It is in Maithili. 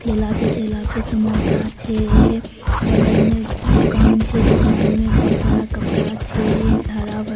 ठेला छै ठेला पर समोसा छै बगल में दुकान छै दुकान में बहुत सारा कपड़ा छै भरा-भरा